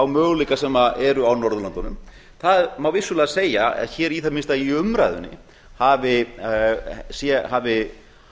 möguleika sem eru á norðurlöndunum það má vissulega segja að hér í það minnsta í umræðunni hafi